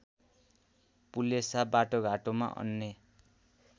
पुलेसा बाटोघाटोमा अन्य